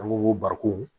An ko ko barikon